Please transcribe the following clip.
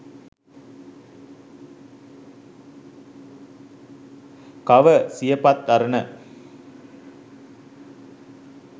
cover siyapath arana